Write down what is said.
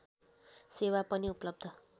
सेवा पनि उपलब्ध